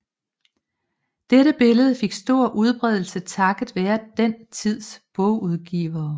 Dette billede fik stor udbredelse takket være den tids bogudgivere